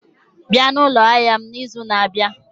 Bịa na ụlọ ahịa m n'izu na-abịa!